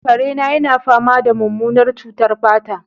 kare na yana fama da mummunar cutar fata